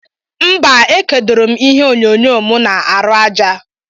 Mba ekodorom ihe onyo nyo mu na arụ aja.